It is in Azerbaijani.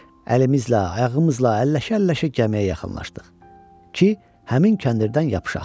Əlimizlə, ayağımızla əlləşə-əlləşə gəmiyə yaxınlaşdıq ki, həmin kəndirdən yapışaq.